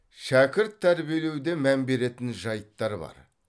шәкірт тәрбиелеуде мән беретін жайттар бар